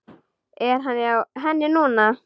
Er hann hjá henni núna?